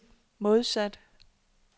modsat